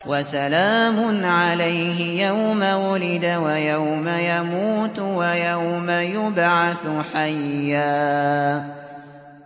وَسَلَامٌ عَلَيْهِ يَوْمَ وُلِدَ وَيَوْمَ يَمُوتُ وَيَوْمَ يُبْعَثُ حَيًّا